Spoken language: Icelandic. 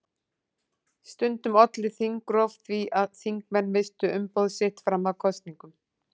Stundum olli þingrof því að þingmenn misstu umboð sitt fram að kosningum.